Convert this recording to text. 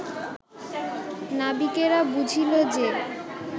নাবিকেরা বুঝিল যে